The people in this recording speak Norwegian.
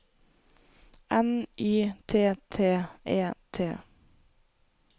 N Y T T E T